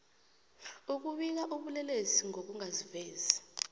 ukubika ubulelesi ngokungazivezi